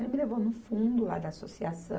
Ele me levou no fundo lá da associação,